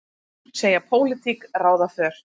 Segja pólitík ráða för